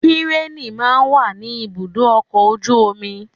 Kírènì máa ń wà ní ibùdó ọkọ̀ ojú omi